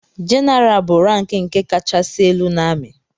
jeneral bụ rank nke kachasị elu n’ami